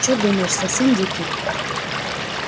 чё думаешь совсем дикий